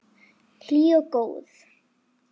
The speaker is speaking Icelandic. Hlý og góð.